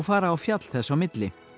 fara á fjall þess á milli